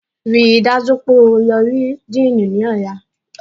Ríi dájú wípé o lọ rí Díìnì ní ọ̀la